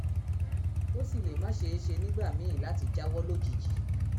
ó sì lè má ṣeé ṣe nígbà míì láti jáwọ́ lójijì